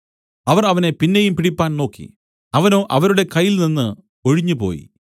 അവർ അവനെ പിന്നെയും പിടിപ്പാൻ നോക്കി അവനോ അവരുടെ കയ്യിൽ നിന്നു ഒഴിഞ്ഞുപോയി